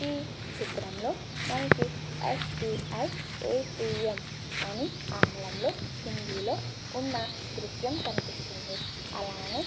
ఈ చిత్రంలో మనకి ఎస్.బి.ఐ. ఎ.టి.ఎం. అని ఆంగ్లంలో హిందీలో ఉన్న దృశ్యం కనిపిస్తుంది . అలానే --